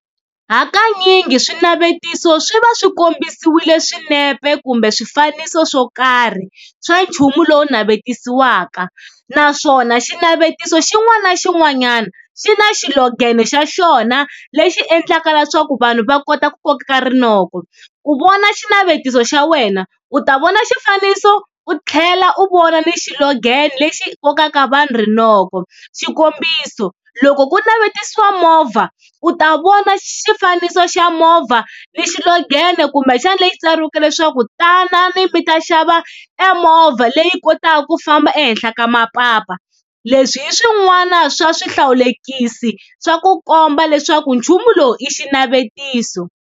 Hakanyingi swinavetiso swi va swi kombisiwile swinepe kumbe swifaniso swo karhi swa nchumu lowu navetisiwaka, naswona xinavetiso xin'wana na xin'wanyana xi na xilogene xa xona lexi endlaka leswaku vanhu va kota ku koka rinoko. Ku vona xinavetiso xa wena u ta vona xifaniso u tlhela u vona ni xilogene lexi kokaka vanhu rinoko, xikombiso loko ku navetisiwa movha u ta vona xifaniso xa movha ni xilogene kumbexana leyi tsariweke leswaku tanani mi ta xava e movha leyi kotaku ku famba ehenhla ka mapapa. Leswi hi swin'wana swa swihlawulekisi swa ku komba leswaku nchumu lowu i xinavetiso.